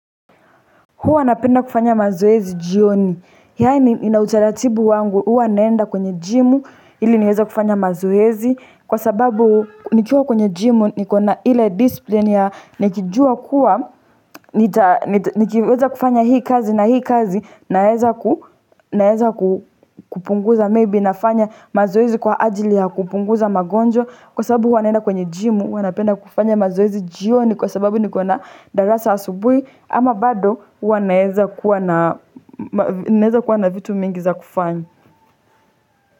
Huwa napenda kufanya mazoezi jioni, yaani nina utaratibu wangu, huwa naenda kwenye jimu, ili niweza kufanya mazoezi, kwa sababu nikiwa kwenye jimu, nikona ile discipline ya nikijua kuwa, nikiweza kufanya hii kazi na hii kazi, naeza kupunguza, maybe nafanya mazoezi kwa ajili ya kupunguza magonjwa, kwa sababu huwa naenda kwenye jimu, huwa napenda kufanya mazoezi jioni kwa sababu nikona darasa asubuhi, ama bado naeza kuwa na vitu mingi za kufanya.